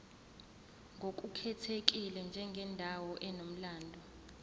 ngokukhethekile njengendawo enomlando